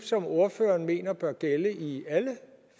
som ordføreren mener bør gælde i alle